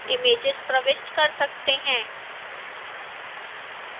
images प्रविष्ट कर सकते हैं